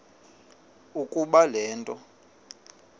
ukuba le nto